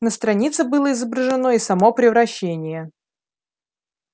на странице было изображено и само превращение